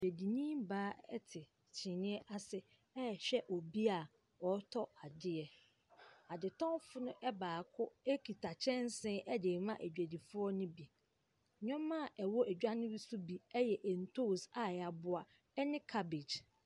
Bibini baa te kyineɛ ase ɛrehwɛ obi a ɔretɔ adeɛ. Adetɔmfo no baako kita kyɛnse de rema adwadifoɔ ne bi. Nneɛma ɛwɔ dwa ne bi so bi yɛ ntoosi a yɛaboa ne cabbage.